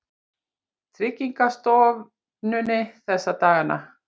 Tryggingastofnuninni þessa dagana.